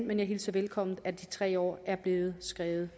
men jeg hilser det velkommen at de tre år er blevet skrevet